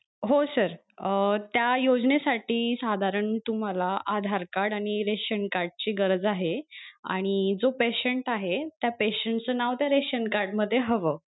हो sir अं त्या योजने साठी साधारण तुम्हाला आधार card आणि ration card ची गरज आहे आणि जो patient आहे त्या patient च नाव त्या रेशन card मध्ये हवं.